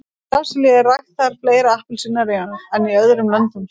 í brasilíu eru ræktaðar fleiri appelsínur en í öðrum löndum